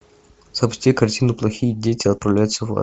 запусти картину плохие дети отправляются в ад